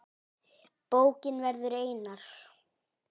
Bókin verður einar